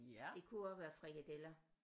Det kunne også være frikadeller